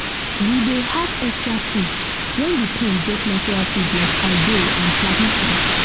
we dey add extra food when the pond get natural food like algae and plankton